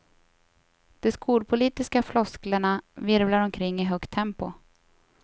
De skolpolitiska flosklerna virvlar omkring i högt tempo.